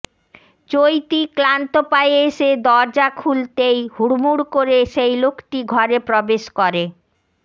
চৈতী ক্লান্ত পায়ে এসে দরজা খুলতেই হুড়মুড় করে সেই লোকটি ঘরে প্রবেশ করে